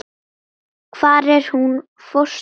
Hvar er hún fóstra mín?